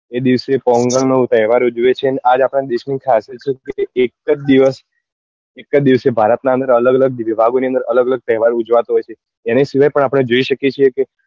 એ દિવસે પોંગલ નો તહેવાર ઉજવે છે અને આજ આપણા દેશ ની ખાસિયત છે કે એક જ દિવસ એક જ દિવસે ભારત ની અંદર અલગ અલગ વિભાગો ની અંદર અલગ અલગ તહેવારો ઉજવાતો હોય છે એની સિવાય પણ આપડે જોઈ શકીએ છીએ કે